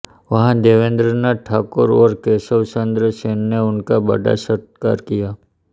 वहां देवेन्द्रनाथ ठाकुर और केशवचन्द्र सेन ने उनका बड़ा सत्कार किया